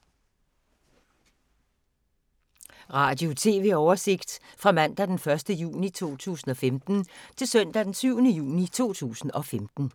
Radio/TV oversigt fra mandag d. 1. juni 2015 til søndag d. 7. juni 2015